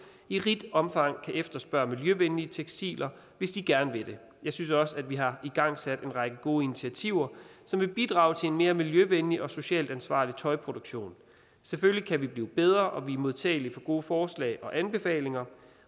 i rigt omfang kan efterspørge miljøvenlige tekstiler hvis de gerne vil det jeg synes også at vi har igangsat en række gode initiativer som vil bidrage til en mere miljøvenlig og socialt ansvarlig tøjproduktion selvfølgelig kan vi blive bedre og vi er modtagelige for gode forslag og anbefalinger